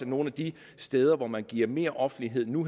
nogle af de steder hvor man giver mere offentlighed nu